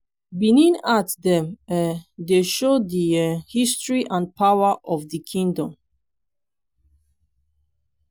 benin art dem um dey show di um history and power of di kingdom.